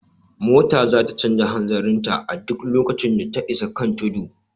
Mota zata canja hanzarin ta a duk lokacin da ta isa kan tudu